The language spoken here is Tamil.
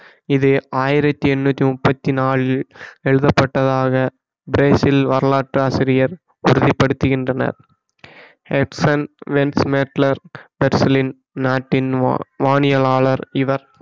இது ஆயிரத்தி எட்நூத்தி முப்பத்தி நாளில் எழுதப்பட்டதாக பிரேசில் வரலாற்று ஆசிரியர் உறுதி படுத்துகின்றனர் ஹாட்சன் வென்ஸ்மேட்லர் பெர்சிலின் நாட்டின் வா~ வானியலாளர் இவர்